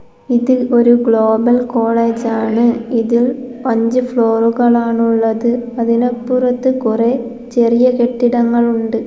ഇത് ഒരു global college ആണ് ഇത് അഞ്ച് ഫ്ലോറുകളാണുള്ളത് അതിനപ്പുറത്ത് കൊറേ ചെറിയ കെട്ടിടങ്ങൾ ഉണ്ട്.